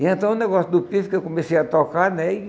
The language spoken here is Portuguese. E então o negócio do pife que eu comecei a tocar, né?